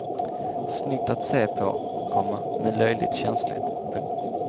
Snyggt att se på, komma men löjligt känsligt. punkt